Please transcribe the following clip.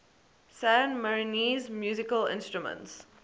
san marinese musical instruments